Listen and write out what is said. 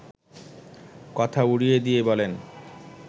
কথা উড়িয়ে দিয়ে বলেন